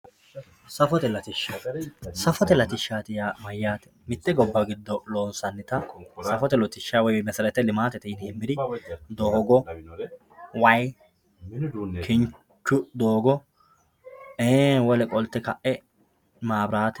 Saffote latishati saffote latishati yaa mayaate mitte gobba giddo loonsanita saffote latisha doogo wayi kinchu doogo wole qolte ka`e mabiraate